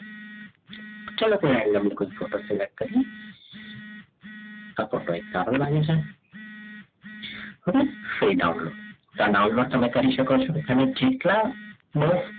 ચલો કોઈ randomly કોઈ photo select કરીએ આ photo એક સારો લાગે છે હવે download download તમે કરી શકો છો તમે જેટલા બસ